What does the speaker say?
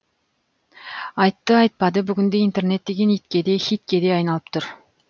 айтты айтпады бүгінде интернет деген итке де хитке де айналып тұр